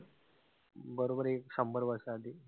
बरोबर एक शंभर वर्षा आधी.